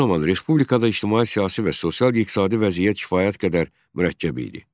Bu zaman respublikada ictimai-siyasi və sosial-iqtisadi vəziyyət kifayət qədər mürəkkəb idi.